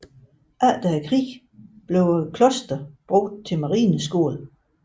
Efter krigen blev klosteret brugt til marineskole